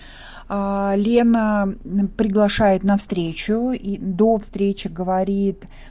аа лена мм приглашает на встречу и до встречи говорит